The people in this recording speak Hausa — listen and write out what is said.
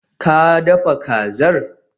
Ka dafa kazar?